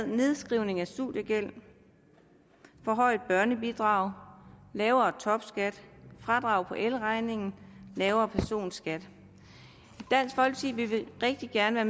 nedskrivning af studiegæld forhøjet børnebidrag lavere topskat fradrag på elregningen lavere personskat i vil vi rigtig gerne